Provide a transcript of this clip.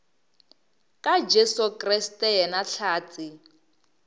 ka jesu kriste yena hlatse